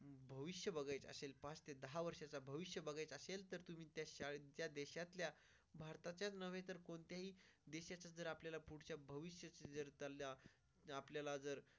भविष्य बघायचं असेल. पाच ते वर्षांचा भविष्य बघत असेल तर तुम्ही त्या शाळेच्या देशातल्या भारताच्याच नव्हे तर कोणत्याही दिशेत जर आपल्याला पुढच्या भविष्यातल्या आपल्याला जर.